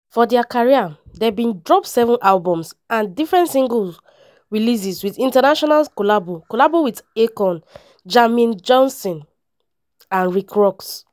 for dia career dem bin drop seven albums and different single releases with international collabo collabo with akon jermaine jackson and rick ross.